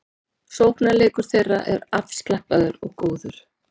Sóknarleikur þeirra er afslappaður og góður